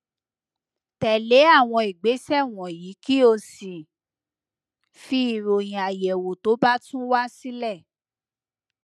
tẹlé àwọn ìgbésẹ wọnyí kí o sì fi ìròyìn àyẹwò tó bá tún wá sílẹ